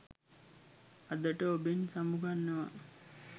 අදට ඔබෙන් සමුගන්නවා.